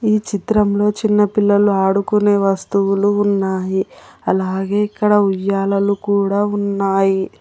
ఈ చిత్రంలో చిన్న పిల్లలు ఆడుకునే వస్తువులు ఉన్నాయి అలాగే ఇక్కడ ఉయ్యాలలు కూడా ఉన్నాయి.